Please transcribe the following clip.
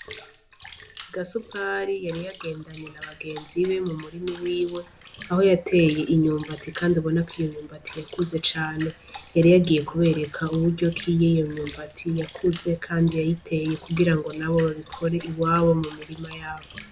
Gasupari yari yagendanye na bagenzi be mu murimi wiwe aho yateye inyumbati, kandi abona ko iyomnyumbati yakuze cane yariyagiye kubereka uburyo kiyeyomyumbati yakuze, kandi yayiteye kugira ngo na bo babikore iwabo mu mirima yabo.